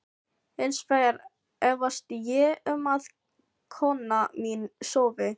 Hins vegar efast ég um að kona mín sofi.